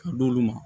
Ka d'olu ma